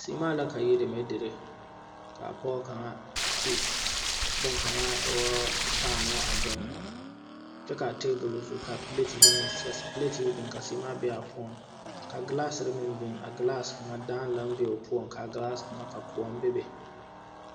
Seemaa la ka yiri deme dire ka a pɔge kaŋa a ti bokaŋa aŋ e woo paanoɔ a doŋ kyɛ kaa taabol zu ka piileetire ka seemaa be a poɔ kyɛ ka ( NA )meŋ biŋ a ( NA) kaŋa daa la be o poɔ ka a ( NA) kaŋa ka koɔ be be